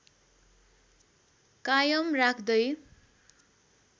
कायम राख्दै